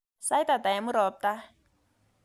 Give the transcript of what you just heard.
Sait ata eng murop tai